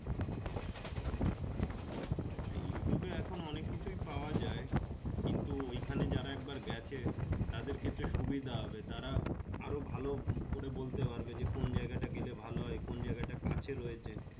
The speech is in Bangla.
youtube এখান অনেক কিছু পাওয়া যাই কিন্তু ওই খানে একবার গাছে তাদের কাছে সুবিধা হবে তারা আরো ভালো করে বলতে পারবে যে কোন জায়গা টা গেলে ভালো হয় কোন জায়গাটা কাছের হয়েছে।